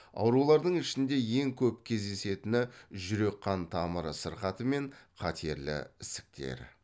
аурулардың ішінде ең көп кездесетіні жүрек қан тамыр сырқаты мен қатерлі ісіктер